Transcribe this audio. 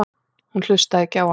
Hún hlustaði ekki á hann.